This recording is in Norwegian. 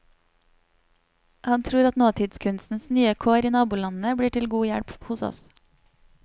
Han tror at nåtidskunstens nye kår i nabolandene blir til god hjelp hos oss.